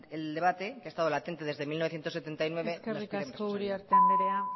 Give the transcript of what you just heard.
el debate que ha estado latente desde mil novecientos setenta y nueve eskerrik asko uriarte andrea